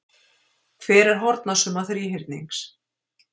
Hver er hornasumma þríhyrnings?